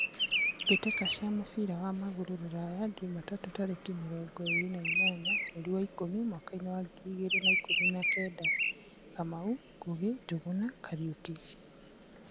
Mbĩ tĩ ka cia mũbira wa magũrũ Ruraya Jumatatu tarĩ ki mĩ rongo ĩ rĩ na inyanya mweri wa ikũmi mwakainĩ wa ngiri igĩ rĩ na ikũmi na kenda: Kamau, Ngugi, Njuguna, Kariuki.